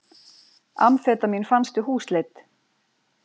Amfetamín fannst við húsleit